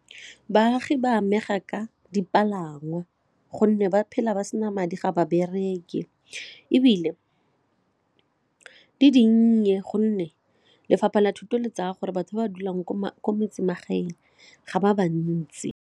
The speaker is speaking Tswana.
Baagi ba amega ka dipalangwa gonne ba phela ba sena madi ga ba bereki ebile di dinnye gonne lefapha la thuto le tsaya gore batho ba dulang ko metsemagaeng ga ba bantsi.